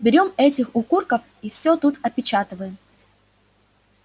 берём этих укурков и всё тут опечатываем